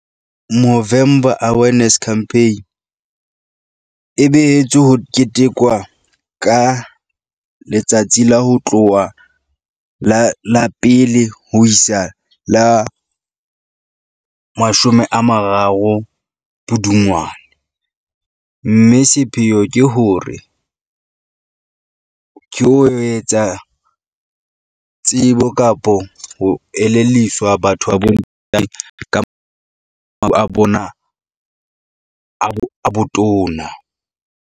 Movember Awareness Campaign e behetswe ho ketekwa ka letsatsi la ho tloha la la pele ho isa la mashome a mararo Pudungwana. Mme sepheo ke hore ke ho etsa, tsebo kapo ho elelliswa batho ba bo ntate ka a bona a bo a botona.